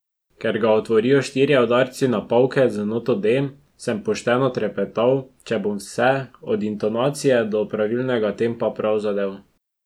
Ker ga otvorijo štirje udarci na pavke z noto D, sem pošteno trepetal, če bom vse, od intonacije do pravilnega tempa prav zadel.